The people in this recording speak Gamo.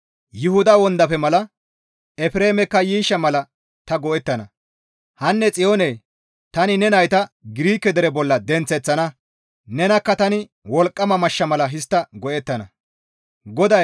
Yuhuda wondafe mala Efreemekka yiishsha mala ta go7ettana; hanne Xiyoone tani ne nayta Girike dere bolla denththeththana; nenakka tani wolqqama mashsha mala histta go7ettana.